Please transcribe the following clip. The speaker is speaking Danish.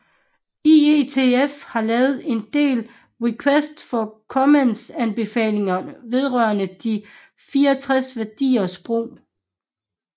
IETF har lavet en del request for comments anbefalinger vedrørende de 64 værdiers brug